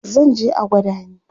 zanje a gwada ni